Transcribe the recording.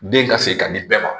Den ka se ka di bɛɛ ma